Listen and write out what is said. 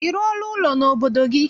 Ị rụọla ụlọ n'obodo gị?